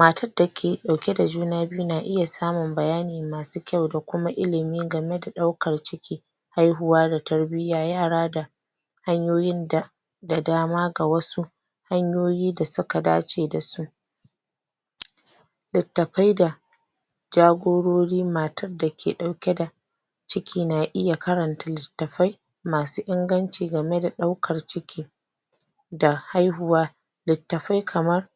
Matad dake ɗauke da juna biyu na iya samun bayani masu kyau da kuma ilimi game da ɗaukar ciki haihuwa da tarbiyya yara da hanyoyin da da dama ga wasu hanyoyi da suka dace da su littapai da jagorori matad dake ɗauke da ciki na iya karanta littafai masu inganci game da ɗaukar ciki da haihuwa littafai kamar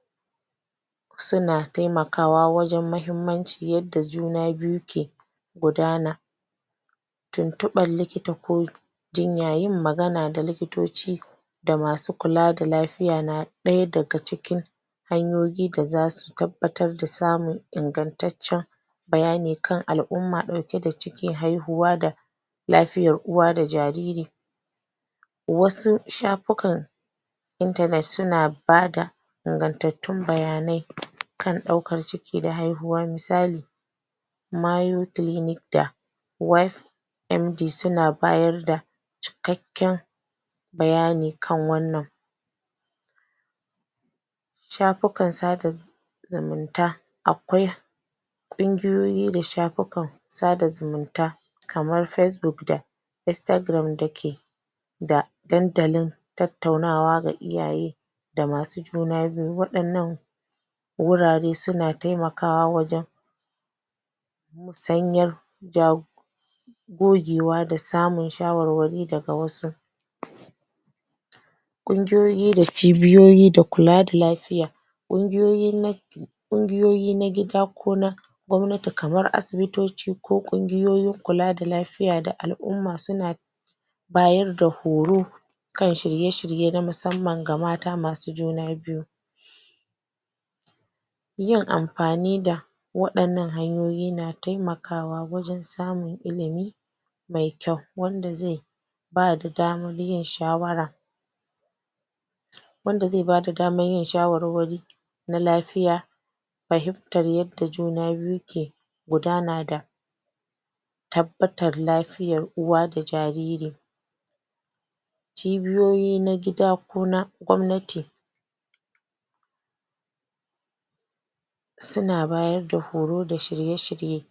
suna taimakawa wajen mahimmanci yadda juna biyu ke gudana tuntuɓan likita ko jinya yin magana da likitoci da masu kula da lafiya na ɗaya daga cikin hanyoyi da zasu tabbatar da samun ingantaccen bayani kan al'umma ɗauke da ciki haihuwa da lafiyar uwa da jariri wasu shapukan suna ba da ingantattun bayanai kan ɗaukar ciki da haihuwa misali MD suna bayar da cikakken bayani kan wannan shafukan sada zumunta akwai ƙungiyoyi da shapukan sada zumunta kamar da da ke da dandalin tattunawa ga iyaye da masu juna biyu waɗannan wurare suna taimakawa wajen musanyar gogewa da samun shawarwari daga wasu ƙungiyoyi da cibiyoyi da kula da lafiya ƙungiyoyi ƙungiyoyi na gida ko na gwamnati kamar asibitoci ko ƙungiyoyin kula da lafiya da al'umma suna bayar da horo kan shirye-shirye na musamman ga mata masujuna biyu yin ampani da waɗannan hanyoyi na taimakawa wajen samun ilimi mai kyau wanda zai bada daman yin shawara wanda ze bada daman yin shawarwari na lafiya pahimtar yadda juna biyu ke gudana da tabbatar lafiyar uwa da jariri cibiyoyi na gida ko na gwamnati suna bayar da horo da shirye-shirye.